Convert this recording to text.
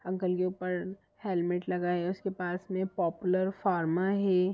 Uncle के ऊपर helmet लगाये उसके पास में पोप्युलर फार्मा है।